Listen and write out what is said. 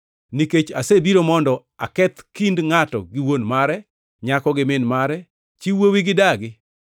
Nikech asebiro mondo aketh kind “ ‘ngʼato gi wuon mare, nyako gi min mare, chi wuowi gi dagi,